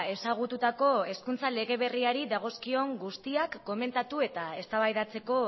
ezagututako hezkuntza lege berriari dagozkion guztiak komentatu eta eztabaidatzeko